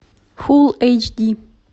фулл эйч ди